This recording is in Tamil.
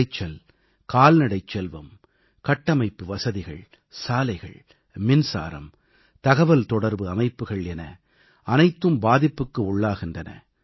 விளைச்சல் கால்நடைச் செல்வம் கட்டமைப்பு வசதிகள் சாலைகள் மின்சாரம் தகவல் தொடர்பு அமைப்புகள் என அனைத்தும் பாதிப்புக்கு உள்ளாகின்றன